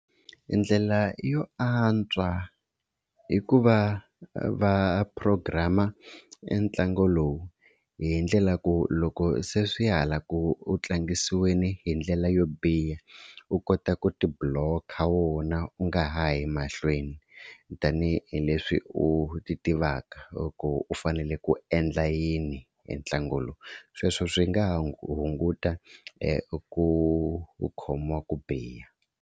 Ndlela yo antswa i ku va va program-a entlangu lowu hi ndlela ku loko se swi ya hala ku tlangisiweni hi ndlela yo biha u kota ku tibuloka wona u nga ha yi mahlweni, tanihileswi u ti tivaka loko u fanele ku endla yini hi ntlangu lowu sweswo swi nga hunguta ku u khomiwa ku biha.